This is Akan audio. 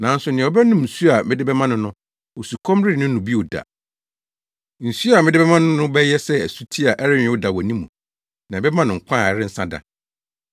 nanso nea ɔbɛnom nsu a mede bɛma no no, osukɔm renne no bio da. Nsu a mede bɛma no no bɛyɛ sɛ asuti a ɛrenyow da wɔ ne mu, na ɛbɛma no nkwa a ɛrensa da.”